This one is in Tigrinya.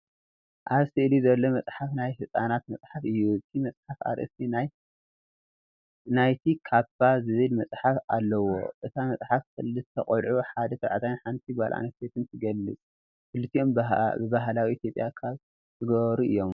ኣብ ስእሊ ዘሎ መጽሓፍ ናይ ህጻናት መጽሓፍ እዩ። እቲ መጽሓፍ ኣርእስቲ "ሓይሊ ናይቲ ካባ"፣ ዝብል ጽሑፍ ኣለዎ። እታ መጽሓፍ ክልተ ቆልዑ፡ ሓደ ተባዕታይን ሓንቲ ጓል ኣንስተይቲን ትገልጽ። ክልቲኦም ብባህላዊ ኢትዮጵያዊ ካባ ዝገበሩ እዮም ።